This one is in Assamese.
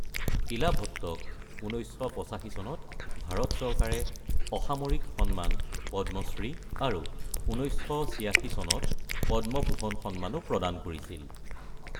ইলা ভট্টক ১৯৮৫ চনত ভাৰত চৰকাৰে অসামৰিক সন্মান পদ্মশ্ৰী, আৰু ১৯৮৬ চনত পদ্মভূষণ সন্মানো প্ৰদান কৰিছিল।